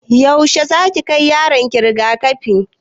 Yaushe zaki kai yaron ki rigakafi?